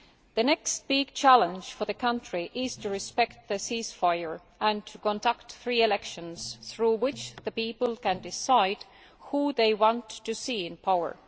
The next big challenge for the country is to respect the ceasefire and to conduct free elections through which the people can decide who they want to see in power.